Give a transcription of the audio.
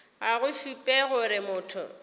ga go šupe gore motho